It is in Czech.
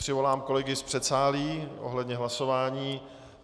Přivolám kolegy z předsálí ohledně hlasování.